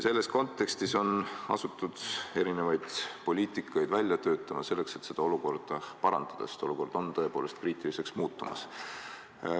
Selles kontekstis on asutud erinevaid poliitikaid välja töötama, selleks et olukorda parandada, sest olukord on tõepoolest kriitiliseks muutumas.